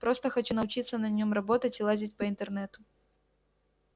просто хочу научиться на нём работать и лазить по интернету